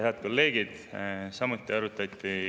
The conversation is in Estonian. Head kolleegid!